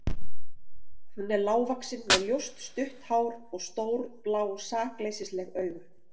Hún er lágvaxin með ljóst, stutt hár og stór, blá sakleysisleg augu.